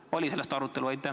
Kas oli sellist arutelu?